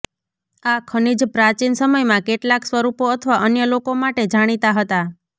આ ખનિજ પ્રાચીન સમયમાં કેટલાક સ્વરૂપો અથવા અન્ય લોકો માટે જાણીતા હતા